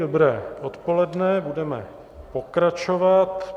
Dobré odpoledne, budeme pokračovat.